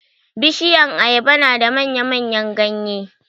Bishiyan ayaba na da manya-manyan ganye.